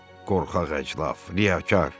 Qorxaq, əclaf, liyakar!